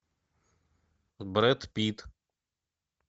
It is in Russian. брэд питт